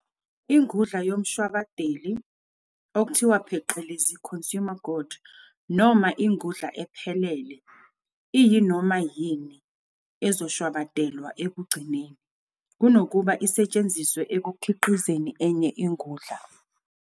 Ingudla yomshwabadeli "consumer good" noma "ingudla ephelele" iyinoma yini ezoshwabadelwa ekugcineni, kunokuba isetshenziswe ekukhiqizeni enye ingudla.